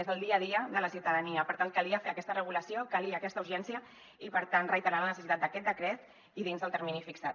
és el dia a dia de la ciutadania per tant calia fer aquesta regulació calia aquesta urgència i per tant reiterar la necessitat d’aquest decret i dins del termini fixat